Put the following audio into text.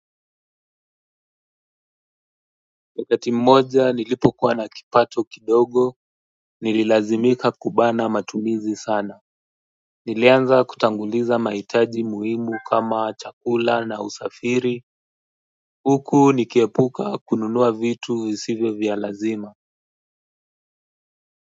Wakati mmoja nilipo kuwa na kipato kidogo nililazimika kubana matumizi sana nilianza kutanguliza mahitaji muhimu kama chakula na usafiri huku nikiepuka kununua vitu visivyo vya lazima.